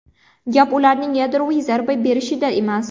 Gap ularning yadroviy zarba berishida emas.